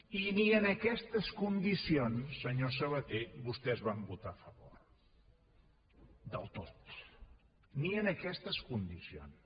i ni amb aquestes condicions senyor sabaté vostès van votar a favor del tot ni amb aquestes condicions